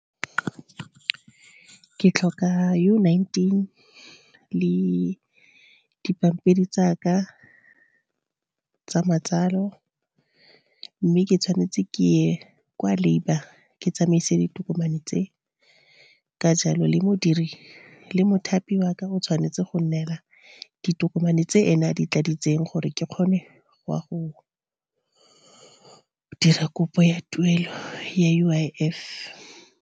Ke tlhoka U nineteen le dipampiri tsaka tsa matsalo, mme ke tshwanetse ke ye kwa labour ke tsamaise ditokomane tse. Ka jalo le mothapi waka o tshwanetse go nnela ditokomane, tse ene a di tladitseng gore ke kgone go ya go dira kopo ya tuelo ya U_I_F.